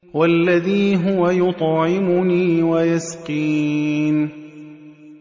وَالَّذِي هُوَ يُطْعِمُنِي وَيَسْقِينِ